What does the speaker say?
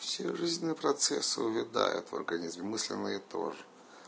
все жизненные процессы увядают в организме мысленные тоже